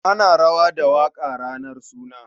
Ana rawa da waƙa ranar suna.